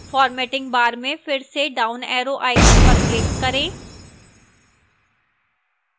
formatting bar में फिर से down arrow icon पर click करें